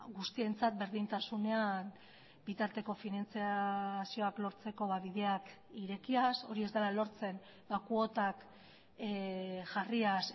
guztientzat berdintasunean bitarteko finantzazioak lortzeko bideak irekiaz hori ez dela lortzen kuotak jarriaz